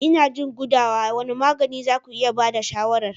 Ina jin gudawa, wane magani za ku iya ba da shawarar?